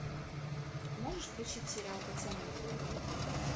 можешь включить сериал пацаны